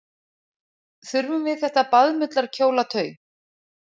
Þurfum við þetta baðmullarkjólatau?